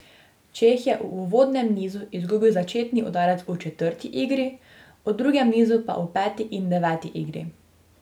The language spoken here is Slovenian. Čeh je v uvodnem nizu izgubil začetni udarec v četrti igri, v drugem nizu pa v peti in deveti igri.